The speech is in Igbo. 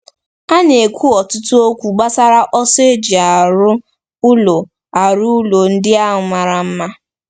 A na-ekwu ọtụtụ okwu gbasara ọsọ eji arụ ụlọ arụ ụlọ ndị a mara mma.